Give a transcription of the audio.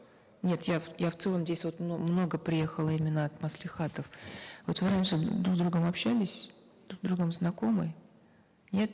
нет я я в целом здесь вот много приехало именно от маслихатов вот вы раньше друг с другом общались друг с другом знакомы нет